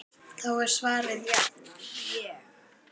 Þá var svarið jafnan: Ég?!